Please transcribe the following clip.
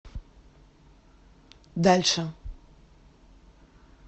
дальше